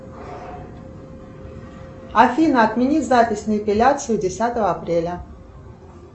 афина отмени запись на эпиляцию десятого апреля